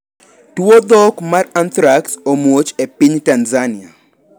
Tuo dhok mar anthrax omuoch e piny Tanzania.